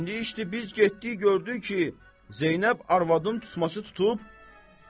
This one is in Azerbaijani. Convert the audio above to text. İndi işdir biz getdik gördük ki, Zeynəb arvadın tutması tutub.